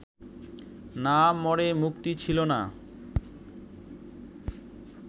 না মরে মুক্তি ছিল না